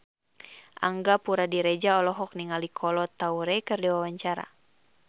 Angga Puradiredja olohok ningali Kolo Taure keur diwawancara